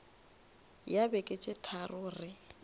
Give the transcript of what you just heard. ya beke tše tharo re